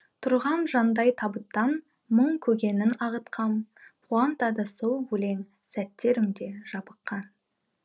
тұрған жандай табыттан мұң көгенің ағытқан қуантады сол өлең сәттерімде жабыққан